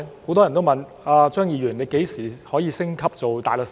很多人都問："張議員，你何時可以升級做大律師？